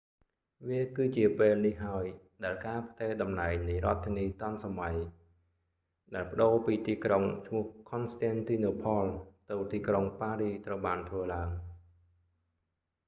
វាគឺជាពេលនេះហើយដែលការផ្ទេរតំណែងនៃរដ្ឋធានីទាន់សម័យ fashion capital ដែលប្តូរពីទីក្រុងឈ្មោះខន់ស្ទែនទីណូផល constantinople ទៅទីក្រុងប៉ារីស paris ត្រូវបានធ្វើឡើង